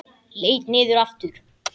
Leit niður aftur.